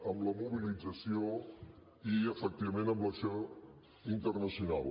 amb la mobilització i efectivament amb l’acció internacional